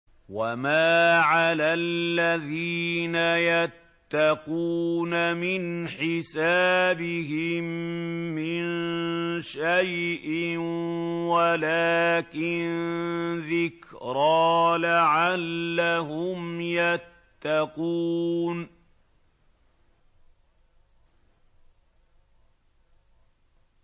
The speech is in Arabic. وَمَا عَلَى الَّذِينَ يَتَّقُونَ مِنْ حِسَابِهِم مِّن شَيْءٍ وَلَٰكِن ذِكْرَىٰ لَعَلَّهُمْ يَتَّقُونَ